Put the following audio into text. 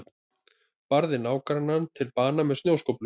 Barði nágrannann til bana með snjóskóflu